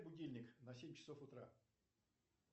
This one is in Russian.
будильник на семь часов утра